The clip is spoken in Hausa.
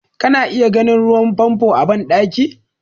Kana iya ganin ruwan famfo a bandaki.